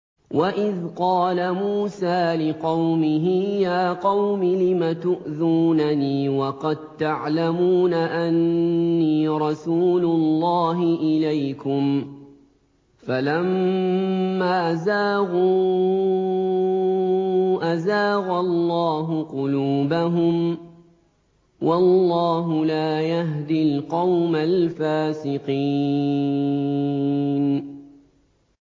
وَإِذْ قَالَ مُوسَىٰ لِقَوْمِهِ يَا قَوْمِ لِمَ تُؤْذُونَنِي وَقَد تَّعْلَمُونَ أَنِّي رَسُولُ اللَّهِ إِلَيْكُمْ ۖ فَلَمَّا زَاغُوا أَزَاغَ اللَّهُ قُلُوبَهُمْ ۚ وَاللَّهُ لَا يَهْدِي الْقَوْمَ الْفَاسِقِينَ